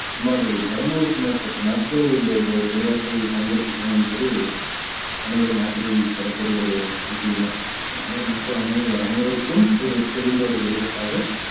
சுமார் இருநூறுக்கும் மேற்பட்ட நாடுகள் இந்த இந்த ஒரு விளையாட்டை பங்கேற்கின்றனர் என்பது அனைவரும் ஆச்சரியப்படக்கூடிய ஒரு விஷயமே உலக மக்கள் அனைவரும் அனைவருக்கும் ஒரு தெரிந்த ஒரு விளையாட்டாக